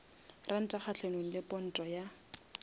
ranta kgahlanong le ponto ya